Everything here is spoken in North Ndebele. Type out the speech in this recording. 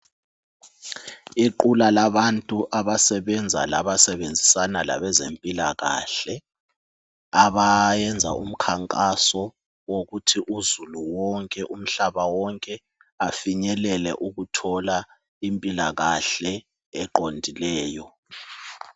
Iqula labantu abasebenza labasebenzisana labezempilakahle abayenza umkhankaso wokuthi uzulu wonke umhlaba wonke afinyelele ukuthola impilakahle eqondileyo.